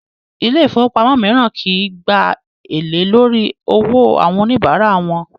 Ilé ifówópamọ́ míràn kìí gbà èlé lórí owó àwọn oníbárà wọn